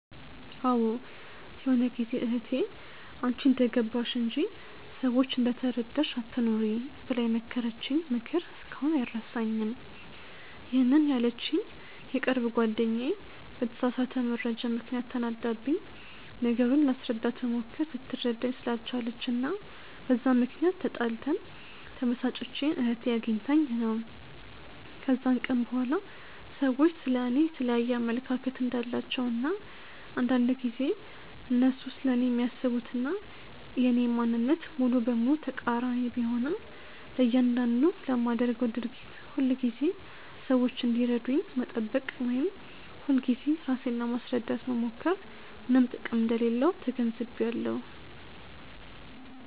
አዎ ይሆነ ጊዜ እህቴ "አንቺ እንደገባሽ እንጂ፤ ሰዎች እንደተረዳሽ አትኑሪ" ብላ የመከረችኝ ምክር እስካሁን አይረሳኝም፤ ይሄንን ያለችኝ የቅርብ ጓደኛዬ በተሳሳተ መረጃ ምክንያት ተናዳብኝ፤ ነገሩን ላስረዳት ብሞክር ልትረዳኝ ስላልቻለች እና በዛ ምክንያት ተጣልተን፤ ተበሳጭቼ እህቴ አግኝታኝ ነው። ከዛን ቀን በኋላ ሰዎች ስለ እኔ የየተለያየ አመለካከት እንዳላቸው እና አንዳንድ ጊዜ እነሱ ስለኔ የሚያስቡት እና የኔ ማንነት ሙሉ በሙሉ ተቃሪኒ ቢሆንም፤ ለያንዳንዱ ለማደርገው ድርጊት ሁልጊዜ ሰዎች እንዲረዱኝ መጠበቅ ወይም ሁልጊዜ ራሴን ለማስረዳት መሞከር ምንም ጥቅም እንደሌለው ተገንዝቢያለው።